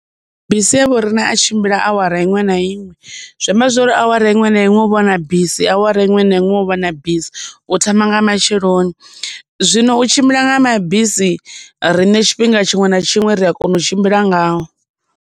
Bisi ha vho riṋe a tshimbila awara iṅwe na iṅwe. Zwi amba zwori awara iṅwe na iṅwe huvha huna bisi awara iṅwe na iṅwe hu vha hu na bisi u thoma nga matsheloni. Zwino u tshimbila nga mabisi riṋe tshifhinga tshiṅwe na tshiṅwe ri a kona u tshimbila ngao.